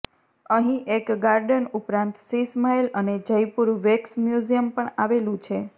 અહીં એક ગાર્ડન ઉપરાંત શીશ મહેલ અને જયપુર વેક્સ મ્યુઝિયમ પણ આવેલું છે